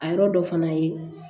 A yɔrɔ dɔ fana ye